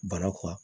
Barakɔ